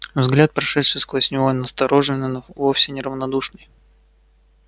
взгляд прошедший сквозь него настороженный но вовсе не равнодушный